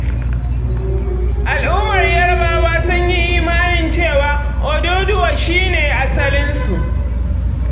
Al'ummar Yarbawa sun yi imanin cewa, Oduduwa shi ne asalinsu.